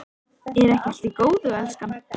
Er ekki allt í góðu lagi, elskan?